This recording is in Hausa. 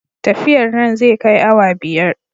Tafiyar nan zai kai awa biyar